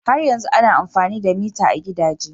Har yanzu ana amfani da mita a gidaje.